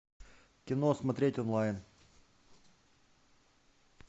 кино смотреть онлайн